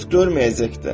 Heç görməyəcək də.